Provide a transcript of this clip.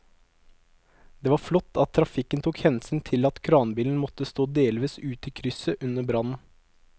Det var flott at trafikken tok hensyn til at kranbilen måtte stå delvis ute i krysset under brannen.